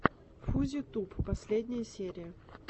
фузи туб последняя серия